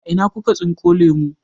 A ina kuka tsinko lemu?